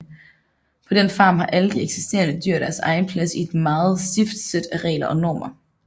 På den farm har alle de eksisterende dyr deres egen plads i et meget stift sæt af regler og normer